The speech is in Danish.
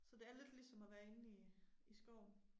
Så det er lidt ligesom at være inde i i skoven